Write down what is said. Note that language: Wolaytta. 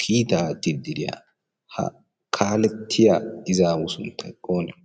kiittaa aattidi diyaa ha kalettiyaa izzawu sunttay oonee?